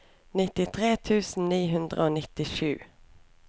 nittitre tusen ni hundre og nittisju